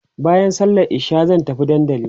baƴan sallan isha zan tafi Dandanli